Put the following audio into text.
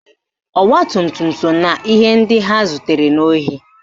Ọgbatumtum so na ihe ndị ha zutere n'ohi